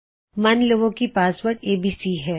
ਮਨ ਲਵੋ ਕੀ ਪਾਸਵਰਡ ਏਬੀਸੀ ਹੈ